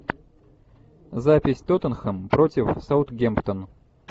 запись тоттенхэм против саутгемптон